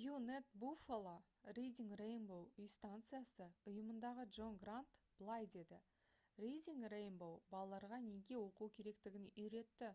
wned buffalo reading rainbow үй станциясы ұйымындағы джон грант былай деді: «reading rainbow балаларға неге оқу керектігін үйретті...